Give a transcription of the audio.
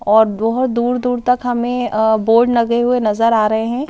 और बहुत दूर-दूर तक हमें अह बोर्ड लगे हुए नजर आ रहे हैं ।